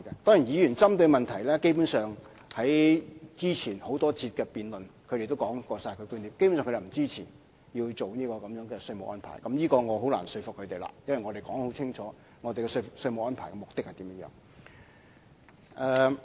當然，議員針對的問題，根本上在之前多次辯論中亦已經提出過，他們基本上便是不支持有關稅務安排，就此，我便是難以說服他們的，因為我們已經清楚指明有關稅務安排的目的為何。